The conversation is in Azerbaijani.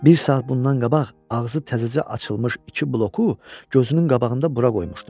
Bir saat bundan qabaq ağzı təzəcə açılmış iki bloku gözünün qabağında bura qoymuşdum.